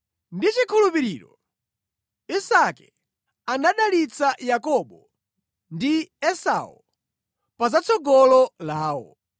Ndi chikhulupiriro Isake anadalitsa Yakobo ndi Esau pa zatsogolo lawo.